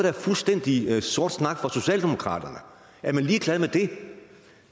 er fuldstændig sort snak for socialdemokraterne er man ligeglad med det